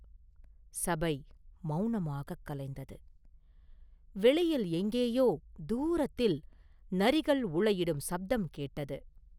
சபை மௌனமாகக் கலைந்தது; வெளியில் எங்கேயோ தூரத்தில் நரிகள் ஊளையிடும் சப்தம் கேட்டது.